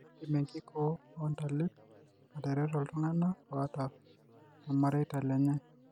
Keidim enkikoo oontalip atareto iltung'anak oata olmareita lenye.